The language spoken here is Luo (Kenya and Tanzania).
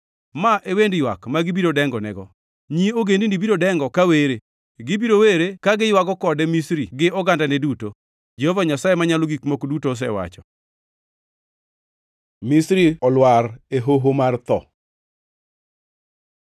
“Ma e wend ywak ma gibiro dengonego. Nyi ogendini biro dengo ka were; gibiro were ka giywago kode Misri gi ogandane duto, Jehova Nyasaye Manyalo Gik Moko Duto osewacho.” Misri olwar e hoho mar tho